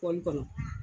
Kɔlili kɔnɔ